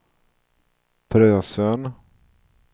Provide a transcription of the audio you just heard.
Frösön